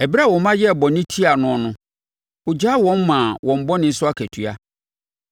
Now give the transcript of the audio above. Ɛberɛ a wo mma yɛɛ bɔne tiaa noɔ no, ɔgyaa wɔn maa wɔn bɔne so akatua.